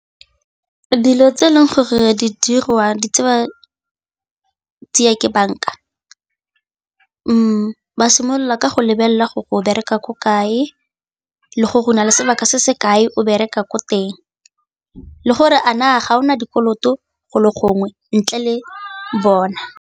Dilo tse e leng gore di dirwa di tseya ke banka ba simolola ka go lebelela gore o bereka ko kae le gore o na le sebaka se se kae o bereka ko teng le gore a na ga o na dikoloto go le gongwe ntle le bona.